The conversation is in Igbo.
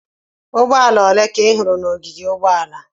Ụgbọala ole ka ị hụrụ n'ogige ụgbọala?